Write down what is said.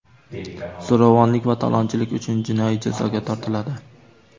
zo‘ravonlik va talonchilik uchun jinoiy jazoga tortiladi.